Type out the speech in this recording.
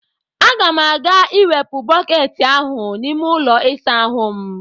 Aga m ga-ewepụ bọket ahụ n'ime ụlọ ịsa ahụ m.